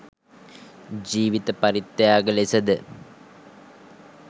ජීවිත පරිත්‍යාග ලෙස ද